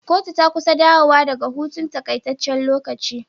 Kotu ta kusa dawo wa daka hutun takaitaccen lokaci